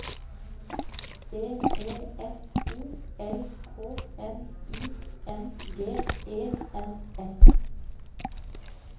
B E F O L K N I N G E N S